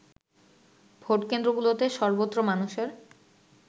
ভোটকেন্দ্রগুলোতে সর্বত্র মানুষের